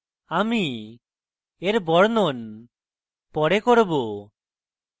আমি বর্ণন পরে দেখবো